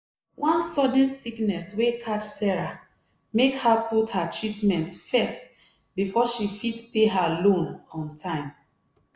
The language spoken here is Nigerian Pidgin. one sudden sickness wey catch sarah make her put her treatment first before she fit pay her loan on time.